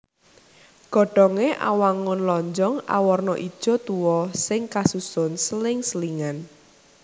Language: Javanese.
Godhongé awangun lonjong awarna ijo tuwa sing kasusun seling selingan